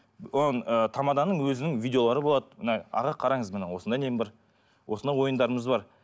ыыы тамаданың өзінің видеолары болады мына аға қараңыз міне осындай нем бар осындай ойындарымыз бар